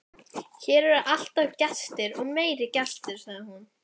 Hér eru alltaf gestir og meiri gestir, sagði hún.